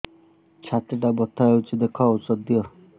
ଛାତି ଟା ବଥା ହଉଚି ଦେଖ ଔଷଧ ଦିଅ